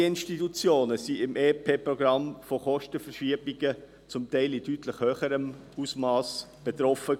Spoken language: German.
Auch andere Institutionen waren im EP 2018 von Kostenverschiebungen teils in deutlich höherem Ausmass betroffen.